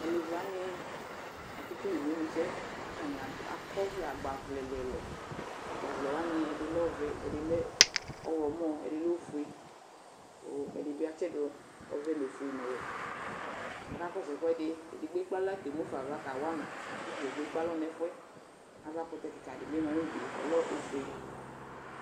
Tʋ alevi wanɩ, akekele imenusɛ kʋ atanɩ ad akɔ ɔvlɛ agbavlɛ ɛlʋ-ɛlʋ Agbavlɛ wanɩ, ɛdɩ lɛ ɔvɛ, ɛdɩ lɛ ɔɣlɔmɔ ɛdɩ lɛ ofu kʋ ɛdɩ bɩ atsɩdʋ ɔvɛ nʋ ofue nʋ ɔwɛ kʋ akakɔsʋ ɛkʋɛdɩ Edigbo ekple aɣla kemu fa ava kawa ma kʋ ata dza kplo ekpe alɔ nʋ ɛfʋ yɛ Avakʋtɛ kɩka dɩ bɩ ma nʋ udu yɛ, ɔlɛ ofue